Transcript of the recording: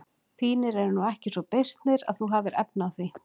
Þínir eru nú ekki svo beysnir að þú hafir efni á því.